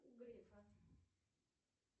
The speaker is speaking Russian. грефа